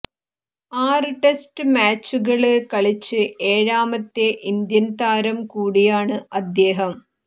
ആറ് ടെസ്റ്റ് മാച്ചുകള് കളിച്ച് ഏഴാമത്തെ ഇന്ത്യന് താരം കൂടിയാണ് അദ്ദേഹം